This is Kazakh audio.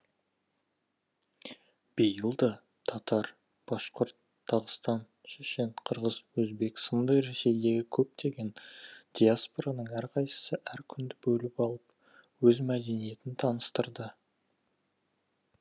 биыл да татар башқұрт дағыстан шешен қырғыз өзбек сынды ресейдегі көптеген диаспораның әрқайсысы әр күнді бөліп алып өз мәдениетін таныстырды